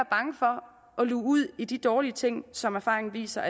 luge ud i de dårlige ting som erfaringen viser